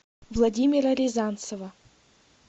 владимира рязанцева